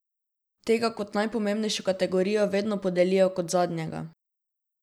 Tega kot najpomembnejšo kategorijo vedno podelijo kot zadnjega.